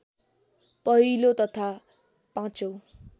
पहिलो तथा पाँचौं